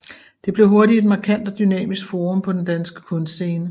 Det blev hurtigt et markant og dynamisk forum på den danske kunstscene